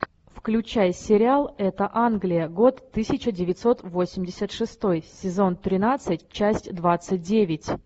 включай сериал это англия год тысяча девятьсот восемьдесят шестой сезон тринадцать часть двадцать девять